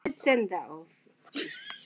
Bryndís í næstu stofu!